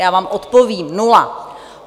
Já vám odpovím: nula!